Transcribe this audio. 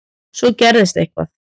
Svo gerðist eitthvað.